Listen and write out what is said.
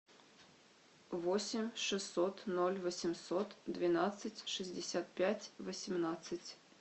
восемь шестьсот ноль восемьсот двенадцать шестьдесят пять восемнадцать